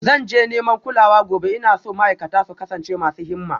Zan je neman kulawa gobe, ina so ma'aikata su kasance masu himma